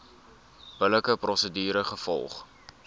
billike prosedure gevolg